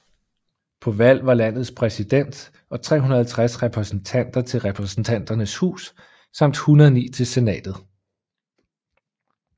På valg var landets præsident og 360 repræsentanter til Repræsentanternes Hus samt 109 til Senatet